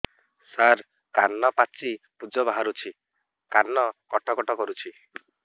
ସାର କାନ ପାଚି ପୂଜ ବାହାରୁଛି କାନ କଟ କଟ କରୁଛି